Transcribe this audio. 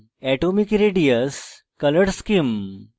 atomic radius পারমাণবিক radius color scheme